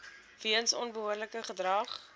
weens onbehoorlike gedrag